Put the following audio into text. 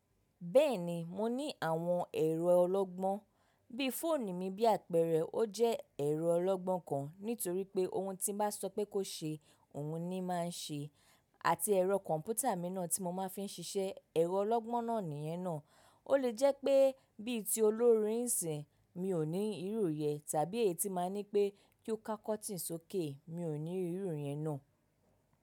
Bẹ́ẹ̀ni, mo ní àwọn ẹ̀rọ ọlọ́gbọ́n, bí i fóònù mi bí àpẹẹrẹ, ó jẹ́ ẹ̀rọ ọlọ́gbọ́n kan nítorí pé ohun tí n bá sọ pé kó ṣe, òun ni máa ń ṣe, àti ẹ̀rọ kọ̀m̀pútà mi náà tí mo máa ń fi ń ṣiṣẹ́, ẹ̀rọ ọlọ́gbọ́n náà nìyẹn náà. Ó lè jẹ́ pé bí i tí olórin ń sìn, mi ò ní ìrù yẹ tàbí ètí máa ń ní pé kí ó ká kọ́tìn sókè, mi ò ní ìrù yẹ náà.